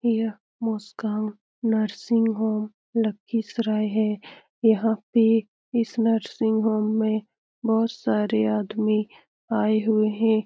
यह Muskan nursing home Lakhisarai है यहाँ पे इस नर्सिंग होम में बहुत सारे आदमी आये हुए हैं ।